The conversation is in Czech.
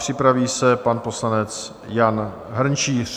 Připraví se pan poslanec Jan Hrnčíř.